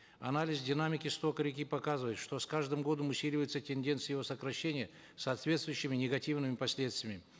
анализ динамики стока реки показывает что с каждым годом усиливается тенденция его сокращения с соответствующими негативными последствиями